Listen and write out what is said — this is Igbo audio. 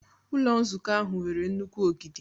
Ụlọ nzukọ ahụ nwere nnukwu ogidi.